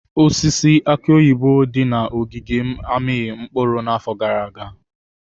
Osisi aki oyibo dị na ogige m amịghị mkpụrụ n'afọ gara aga.